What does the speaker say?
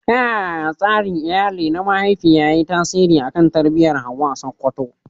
Ta yaya tsarin iyali na mahaifiya ya yi tasiri a kan tarbiyyar Hawwa a Sakkwato?